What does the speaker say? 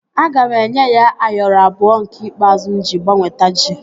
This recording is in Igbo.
Aga m enye ya Ayoro abụọ nke ikpeazụ m iji gbanweta ji